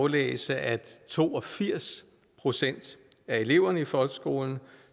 læse at to og firs procent af eleverne i folkeskolen